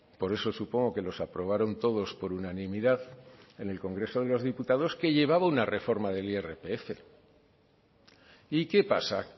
por eso supongo que los aprobaron todos por unanimidad en el congreso de los diputados que llevaba una reforma del irpf y qué pasa